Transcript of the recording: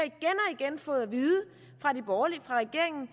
igen fået at vide fra de borgerlige fra regeringen